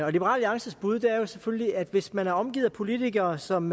alliances bud er selvfølgelig at hvis man er omgivet af politikere som